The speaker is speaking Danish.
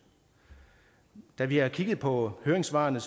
da vi kiggede på høringssvarene